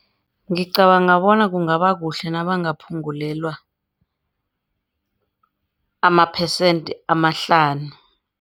Ngicabanga bona kungaba kuhle nabangaphungulelwa amaphesente amahlanu.